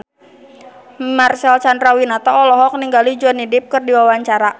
Marcel Chandrawinata olohok ningali Johnny Depp keur diwawancara